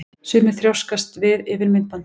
Sumir þrjóskast við yfir myndbandinu.